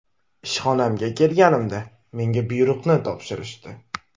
Ishxonamga kelganimda menga buyruqni topshirishdi.